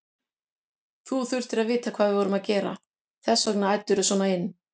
Þú þurftir að vita hvað við vorum að gera, þess vegna æddirðu svona inn.